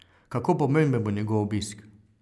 Kako pomemben bo njegov obisk?